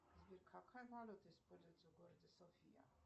сбер какая валюта используется в городе софия